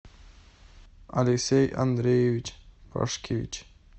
алексей андреевич пашкевич